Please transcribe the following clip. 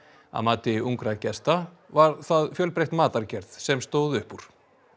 að mati ungra gesta var það fjölbreytt matargerð sem stóð upp úr